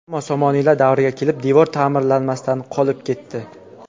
Ammo somoniylar davriga kelib devor ta’mirlanmasdan qolib ketdi.